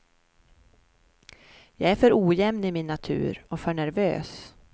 Jag är för ojämn i min natur och för nervös.